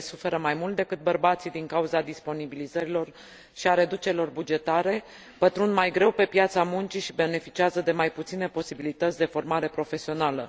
Ele suferă mai mult decât bărbații din cauza disponibilizărilor și a reducerilor bugetare, pătrund mai greu pe piața muncii și beneficiază de mai puține posibilități de formare profesională.